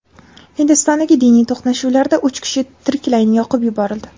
Hindistondagi diniy to‘qnashuvlarda uch kishi tiriklayin yoqib yuborildi.